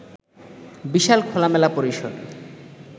বিশাল খোলামেলা পরিসর